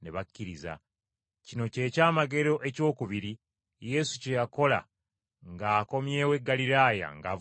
Kino kye kyamagero ekyokubiri Yesu kye yakola ng’akomyewo e Ggaliraaya ng’avudde e Buyudaaya.